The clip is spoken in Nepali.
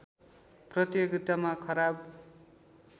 प्रतियोगितामा खराब